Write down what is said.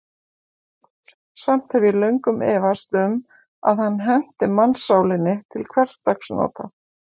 Samt hef ég löngum efast um, að hann henti mannssálinni til hversdagsnota.